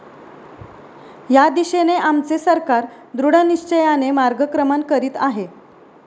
या दिशेने आमचे सरकार दृढनिश्चयाने मार्गक्रमण करीत आहे.